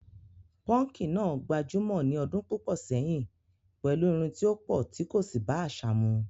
púnkì náà gbajúmọ̀ ní ọdún púpọ̀ sẹ́yìn pẹ̀lú irun tí ó pọ̀ tí kò sì bá àṣà mu.